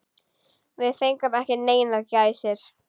Við fengum ekki neinar gæsir.